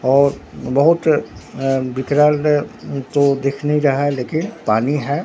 और बहुत अ विकराल अ जो देखने का है लेकिन पानी है।